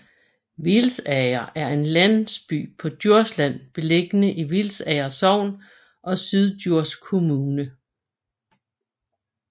Hvilsager er en landsby på Djursland beliggende i Hvilsager Sogn og Syddjurs Kommune